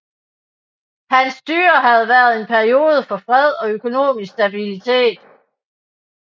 Hans styre havde været en periode af fred og økonomisk stabilitet